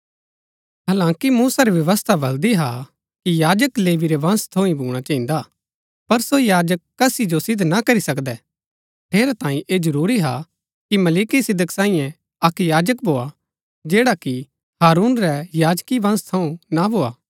हालांकि मूसा री व्यवस्था बलदी हा कि याजक लेवी रै वंश थऊँ ही भूणा चहिन्दा पर सो याजक कसी जो सिद्ध ना करी सकदै ठेरैतांये ऐह जरूरी हा कि मलिकिसिदक सांईये अक्क याजक भोआ जैड़ा कि हारून रै याजकी वंश थऊँ ना भोआ